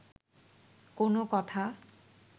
কোনো কথা